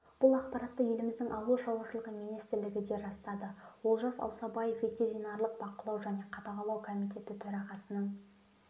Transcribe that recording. бұл ақпаратты еліміздің ауыл шаруашылығы министрлігі де растады олжас аусабаев ветеринарлық бақылау және қадағалау комитеті төрағасының